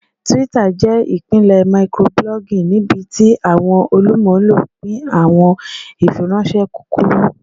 Twitter jẹ ipilẹ microblogging nibiti awọn olumulo pin awọn ifiranṣẹ kukuru.